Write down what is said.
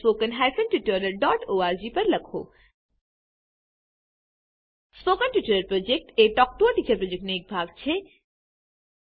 spoken tutorial project talk to a teacher પ્રોજેક્ટનો એક ભાગ છે